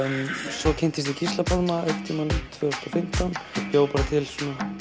svo kynntist ég Gísla Pálma einhvern tímann tvö þúsund og fimmtán og bjó bara til